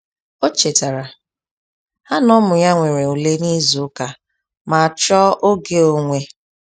O chetara ha na-ụmụ ya nwere ule na ịzụ ụka ma chọọ oge onwe